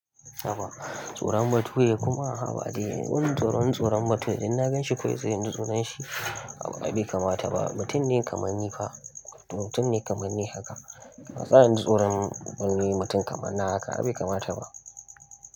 Haba tsoron bature kuma, habadai, wani tsoron tsoron bature, idan na gan shi kawai sai inji tsoran shi. Ai baya bai kamata ba, mutum ne kamar ni fa, mutum ne kamar ni haka. Ba zan ji tsoron wani mutum kamar na haka, ai bai kamata ba.